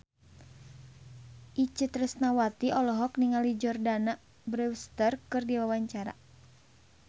Itje Tresnawati olohok ningali Jordana Brewster keur diwawancara